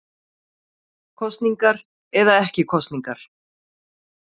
Kosningar eða ekki kosningar